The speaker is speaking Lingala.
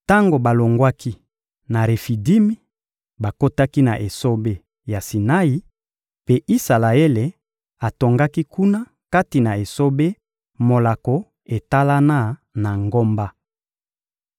Tango balongwaki na Refidimi, bakotaki na esobe ya Sinai, mpe Isalaele atongaki kuna kati na esobe molako etalana na ngomba.